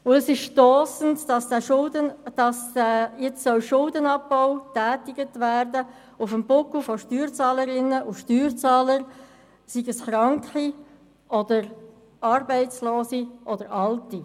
Es ist stossend, dass jetzt Schuldenabbau auf dem Buckel von Steuerzahlerinnen und Steuerzahlern betrieben werden soll, seien es Kranke oder Arbeitslose oder Alte.